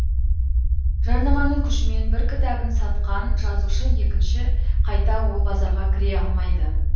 жарнаманың күшімен бір кітабын сатқан жазушы екінші қайта ол базарға кіре алмайды